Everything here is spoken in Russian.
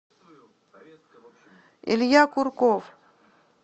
илья курков